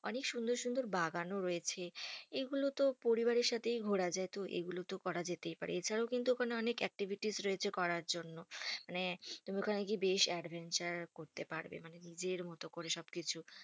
অনেক সুন্দর সুন্দর বাগানও রয়েছে। এগুলো তো পরিবারের সাথেই ঘোরা যায়। তো এগুলো তো করা যেতেই পারে। এছাড়াও কিন্তু ওখানে অনেক activites রয়েছে করার জন্য। মানে তুমি ওখানে গিয়ে বেশ adventure করতে পারবে। মানে নিজের মতো করে সবকিছু